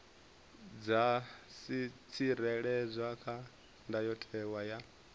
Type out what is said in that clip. dza tsireledzwa kha ndayotewa ya